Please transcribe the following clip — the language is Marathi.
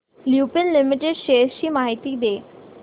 लुपिन लिमिटेड शेअर्स ची माहिती दे